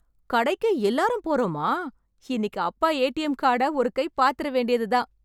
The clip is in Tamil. கடைக்கு எல்லாரும் போறோமா? இன்னிக்கு அப்பா ஏ டி எம் கார்ட ஒரு கை பாத்துற‌ வேண்டியது தான்.